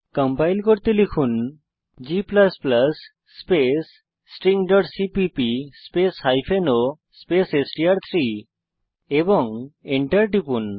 compile করতে লিখুন g space string CPP space o space STR three এবং Enter টিপুন